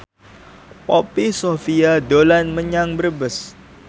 Poppy Sovia dolan menyang Brebes